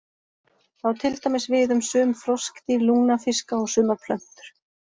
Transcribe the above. Það á til dæmis við um sum froskdýr, lungnafiska og sumar plöntur.